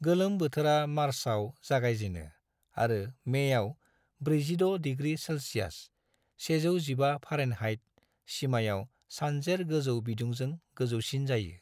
गोलोम बोथोरा मार्चआव जागायजेनो, आरो मेआव 46 डिग्री सेल्सियास (115 फारेनहाइट) सिमायाव सानजेर गोजौ बिदुंजों गोजौसिन जायो।